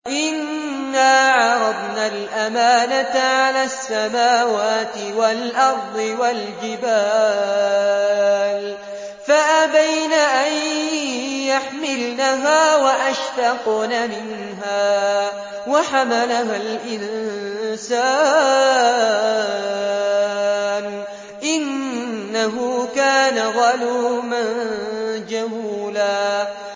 إِنَّا عَرَضْنَا الْأَمَانَةَ عَلَى السَّمَاوَاتِ وَالْأَرْضِ وَالْجِبَالِ فَأَبَيْنَ أَن يَحْمِلْنَهَا وَأَشْفَقْنَ مِنْهَا وَحَمَلَهَا الْإِنسَانُ ۖ إِنَّهُ كَانَ ظَلُومًا جَهُولًا